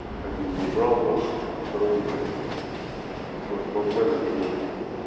один забрал нахуй а второй не забрал нехуя может кладмен обиделся